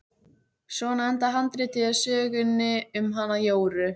Svona endar handritið að sögunni um hana Jóru.